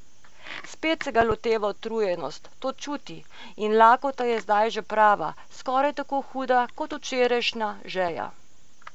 Spet se ga loteva utrujenost, to čuti, in lakota je zdaj že prava, skoraj tako huda kot včerajšnja žeja.